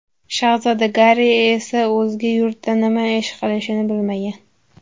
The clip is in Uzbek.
Shahzoda Garri esa o‘zga yurtda nima ish qilishini bilmagan.